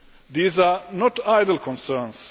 These are not idle concerns.